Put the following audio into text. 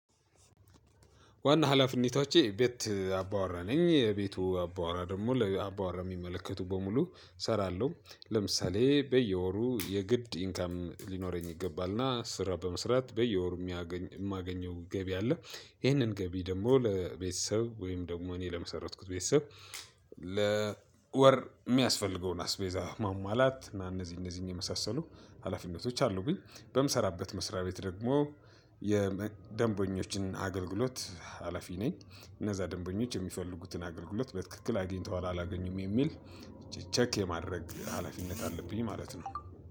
ዋና ሀላፊነቶቼ ቤት አባወራ ነኝ የቤቱ አባወራ ደግሞ ለአባወራ የሚመለከቱ በሙሉ እሰራለሁ ለምሳሌ በየወሩ የግድ ኢንካም ሊኖረኝ ይገባልና ስራ በመስራት በየወሩ የማገኘው ገቢ አለ። ይሄንን ገቢ ደግሞ ለቤተሰብ ወይም ደግሞ እኔ ለመሰረትኩት ቤተሰብ ለወር እሚያስፈልገውን አስቤዛ ማሟላት እና እነዚህ እነዚህን የመሳሰሉ ሀላፊነቶች አሉብኝ። በምሰራበት መስሪያ ቤት ደግሞ የደንበኞችን አገልግሎት ሀላፊ ነኝ። እነዛ ደንበኞች የሚፈልጉትን አገልግሎት በትክክል አግኝተዋል አላገኙም የሚል ቼክ የማድረግ ሀላፊነት አለብኝ ማለት ነው።